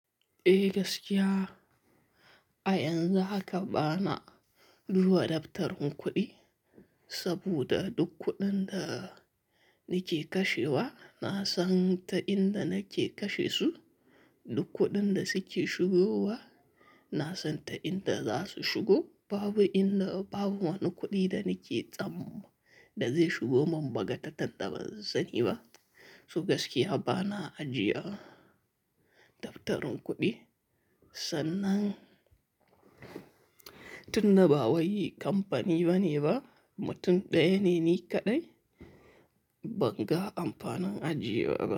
Eh gaskiya, a yanzu haka bana duba daftarin kuɗi saboda duk kuɗin da nike kashewa na san ta inda nake kashe su. Duk kuɗin da suke shigowa na san ta inda za su shigo. Babu inda, babu wani kuɗi da nike tsam da zai shigo mun bagatatan da ban sani ba. Su gaskiya bana ajiya daftarin kuɗi sannan tun da ba wai kamfani bane ba, mutum ɗaya ne ni kaɗai, banga amfanin ajiye wa ba.